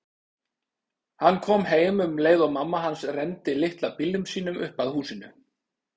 Hann kom heim um leið og mamma hans renndi litla bílnum sínum upp að húsinu.